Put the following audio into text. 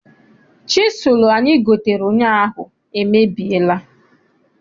Chisụlụ anyi gotere ụnyaahụ emebiela.